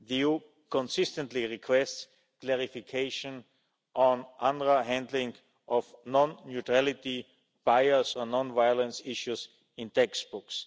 The EU consistently requests clarification on UNRWA handling of non neutrality buyers and non violence issues in textbooks.